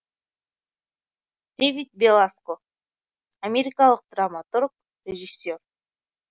дэвид беласко америкалық драматург режиссер